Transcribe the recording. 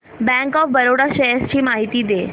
bank of Baroda shares ची माहिती दे